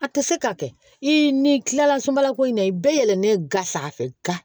A tɛ se ka kɛ i n'i tilala sunbala ko in na i bɛɛ yɛlɛlen ga sa fɛ ga